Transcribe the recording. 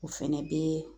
O fɛnɛ bɛ